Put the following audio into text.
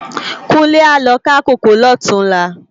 Kunle á lo ká kókòó lòtúnlá